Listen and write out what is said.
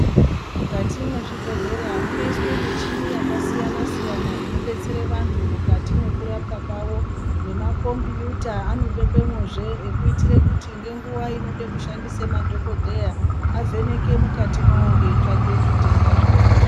Mukati mwezvibhedhlera munoiswa michini yakasiyana siyana inodetsera vantu mukati mekurapwa kwawo nema kombiyuta anobekwemo zvee ekuitira kuti ngenguwa inode kushandisa madhokodheya avheneke mukati mawo eitsvake zvitenda zvevantu